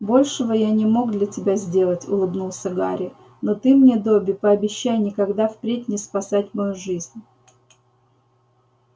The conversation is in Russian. большего я не мог для тебя сделать улыбнулся гарри но ты мне добби пообещай никогда впредь не спасать мою жизнь